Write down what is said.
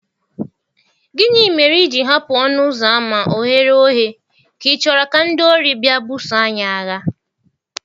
Gịnị mere i ji hapụ ọnụ ụzọ ámá oghere oghe, ka ichoro ka ndị ori bịa buso anyị agha?